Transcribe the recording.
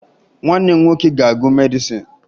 Nwanne m nwoke ga-agụ medịsịn